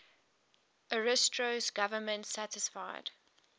ariosto's government satisfied